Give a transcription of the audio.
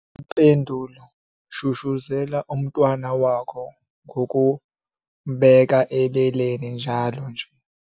Impendulo- Shushuzela umntwana wakho ngokumbeka ebeleni njalo nje.